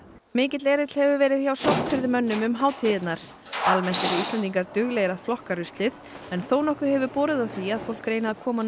mikill erill hefur verið hjá um hátíðirnar almennt eru Íslendingar duglegir að flokka ruslið en þónokkuð hefur borið á því að fólk reyni að koma